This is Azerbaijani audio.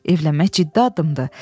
Evlənmək ciddi addımdır.